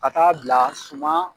Ka ta'a bila suma